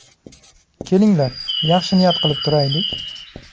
Kelinglar yaxshi niyat qilib turaylik.